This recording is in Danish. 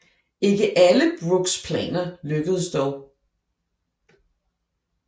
Ikke alle Brookes planer lykkedes dog